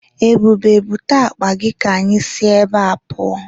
Ebube, bute akpa gị ka anyị si ebea pụọ.